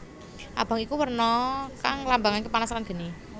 Abang iku werna kang nglambangaké panas lan geni